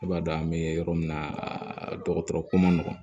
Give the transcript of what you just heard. I b'a dɔn an be yɔrɔ min na a dɔgɔtɔrɔ ko ma nɔgɔn